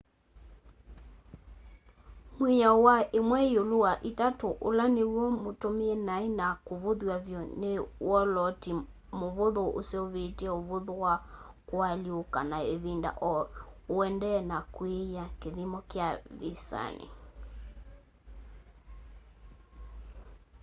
mwiao wa imwe iulu wa itatu ula niw'o mutumie nai na kuvuthw'a vyu ni wolooti muvuthu useuvitye uvuthu wa kualyuuka na ivinda o uendee na kwiia kithimo kya visani